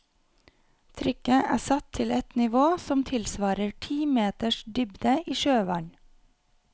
Trykket er satt til et nivå som tilsvarer ti meters dybde i sjøvann.